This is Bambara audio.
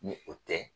Ni o tɛ